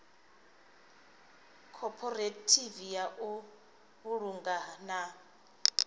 khophorethivi ya u vhulunga na